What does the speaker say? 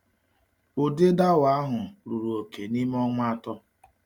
Ụdị dawa ahụ ruru oke n’ime ọnwa atọ.